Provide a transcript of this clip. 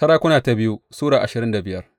biyu Sarakuna Sura ashirin da biyar